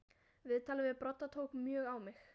Viðtalið við Brodda tók mjög á mig.